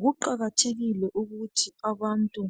Kuqakathekile ukuthi abantu